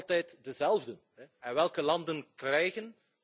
Altijd dezelfden! En welke landen krijgen?